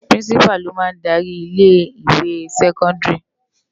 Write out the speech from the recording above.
Pirinsipá ló má n dári ilé iwé sèkòndári